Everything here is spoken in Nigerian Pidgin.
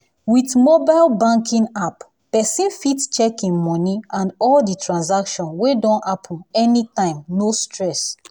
with mobile banking app person fit check im money and all the transaction wey don happen anytime no stress.